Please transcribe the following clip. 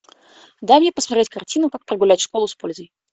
дай мне посмотреть картину как прогулять школу с пользой